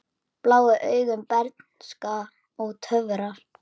Blá augu, bernska og töfrar